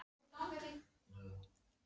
Þau eru heppin að skúrinn er ekki læstur.